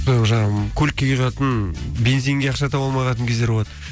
көлікке құятын бензинге ақша таба алмайтын кездер болады